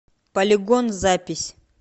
полигон запись